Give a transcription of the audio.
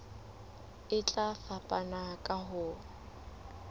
e tla fapana ka ho